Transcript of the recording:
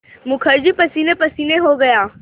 मुखर्जी पसीनेपसीने हो गया